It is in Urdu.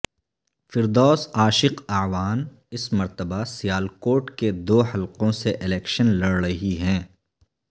فردوس عاشق اعوان اس مرتبہ سیالکوٹ کے دو حلقوں سے الیکشن لڑ رہی ہیں